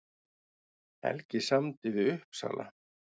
Helgi samdi við Uppsala